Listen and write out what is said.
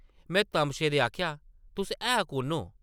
में तमशे दे आखेआ, तुस है कुʼन ओ ?